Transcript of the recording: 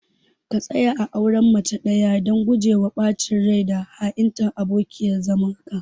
ka tsaya a auren mace ɗaya dan gujewa ɓacin rai da ha'intar abokiyar zamanka.